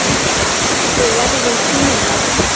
Við verðum fínir.